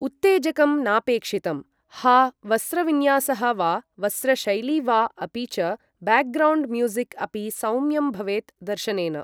उत्तेजकं नापेक्षितम् हा वस्रविन्यासः वा वस्रशैलि वा अपि च बेग्रौण्ड् म्यूझिक् अपि सौम्यं भवेत् दर्शनेन